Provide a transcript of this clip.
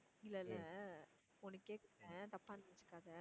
இல்ல இல்ல ஒண்ணு கேக்குறேன் தப்பா நினச்சுக்காத